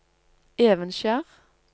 Evenskjer